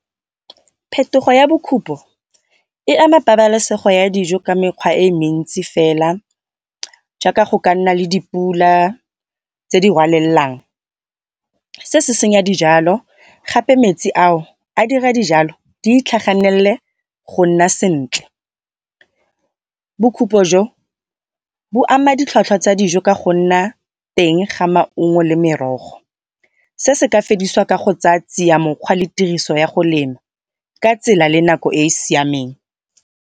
Phetogo ya e ama pabalesego ya dijo ka mekgwa e mentsi fela jaaka go ka nna le dipula tse di rwalelelang. Se se senya dijalo gape metsi ao a dira dijalo di itlhaganelele go nna sentle. jo bo ama ditlhwatlhwa tsa dijo ka go nna teng ga maungo le merogo. Se se ka fedisiwa ka go tsaya tsia mokgwa le tiriso ya go lema ka tsela le nako e siameng.